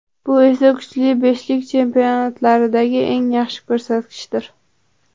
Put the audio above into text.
Bu esa kuchli beshlik chempionatlaridagi eng yaxshi ko‘rsatkichdir .